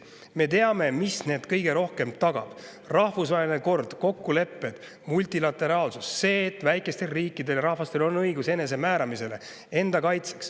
Me teame, mis neid kõige rohkem tagab: rahvusvaheline kord, kokkulepped, multilateraalsus ja see, et väikestel riikidel ja rahvastel on õigus enesemääramisele ja enda kaitseks.